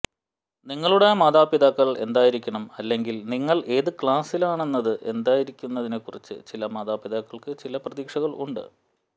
നിങ്ങളുടെ മാതാപിതാക്കൾ എന്തായിരിക്കണം അല്ലെങ്കിൽ നിങ്ങൾ ഏത് ക്ലാസുകളിലാണെന്നത് എന്താണെന്നതിനെക്കുറിച്ച് ചില മാതാപിതാക്കൾക്ക് ചില പ്രതീക്ഷകൾ ഉണ്ട്